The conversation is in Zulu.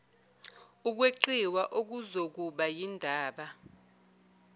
ukweqiwa okuzokuba yindaba